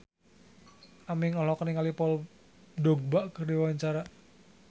Aming olohok ningali Paul Dogba keur diwawancara